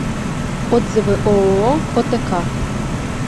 отзывы ооо отк